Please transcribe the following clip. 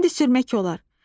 İndi sürmək olar.